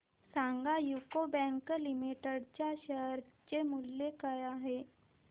सांगा UCO bank limited च्या share चे मूल्य काय आहे